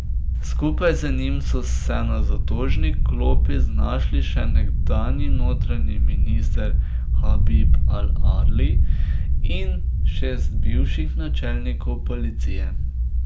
Skupaj z njim so se na zatožni klopi znašli še nekdanji notranji minister Habib al Adlij in šest bivših načelnikov policije.